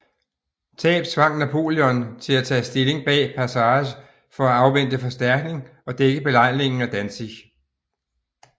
Tab tvang Napoleon til at tage stilling bag Passarge for at afvente forstærkning og dække belejringen af Danzig